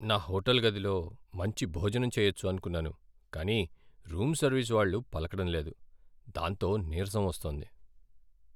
నా హోటల్ గదిలో మంచి భోజనం చెయ్యొచ్చు అనుకున్నాను, కానీ రూమ్ సర్వీస్ వాళ్ళు పలకడం లేదు, దాంతో నీరసం వస్తోంది.